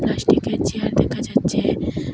পাস্টিক -এর চেয়ার দেখা যাচ্ছে।